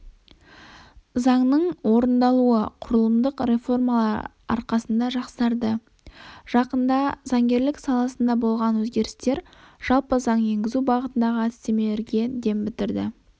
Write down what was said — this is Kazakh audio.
заңның орындалуы құрылымдық реформалар арқасында жақсарды жақында заңгерлік саласында болған өзгерістер жалпы заң енгізу бағытындағы әдістемелерге дем бітірді